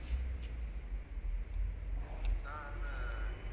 sir அந்த